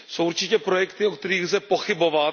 Jsou určitě projekty, o kterých lze pochybovat.